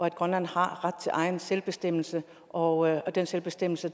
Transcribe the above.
at grønland har ret til egen selvbestemmelse og den selvbestemmelse